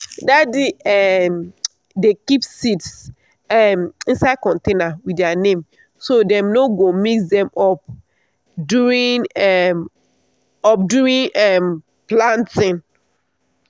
daddy um dey keep seeds um inside container with their name so dem no go mix them up during um up during um planting.